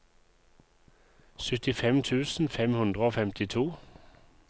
syttifem tusen fem hundre og femtito